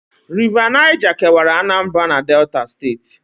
River Niger kewara Anambra na Delta steeti